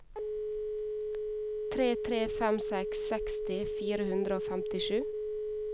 tre tre fem seks seksti fire hundre og femtisju